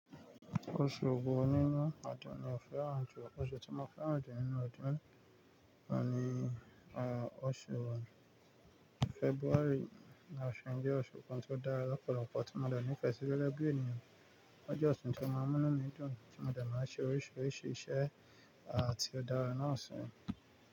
Oṣù wo nínú ọdún ni o fẹ́ràn jù? Oṣù tí mo fẹ́ràn jù nínú ọdún ò n ni, oṣù February ni ọ̀ṣun, jẹ́ oṣù kan tó dára lọ́pọ̀lọpọ̀ tí mo dàní fẹ sí rọ̀rọ̀ ẹgbẹ́ ènìyàn. Ó jẹ́ oṣù tí ó máa ń mú nù mi dún, tí mo dẹ̀ máa ń ṣe oríṣiríṣi iṣẹ́ àti ó dára náàṣọ̀n.